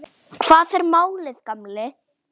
Hvað er málið, gamli?